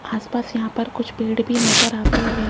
आस पास यहां पर कुछ पेड़ भी नजर आते हैं।